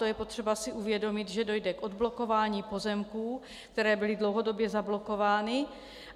To je potřeba si uvědomit, že dojde k odblokování pozemků, které byly dlouhodobě zablokovány.